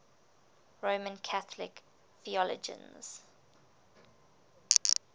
roman catholic theologians